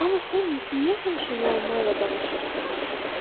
Amma sən niyə həmişə müəmmalı danışırsan?